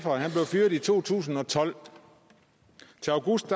og han blev fyret i to tusind og tolv til august